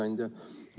Hea ettekandja!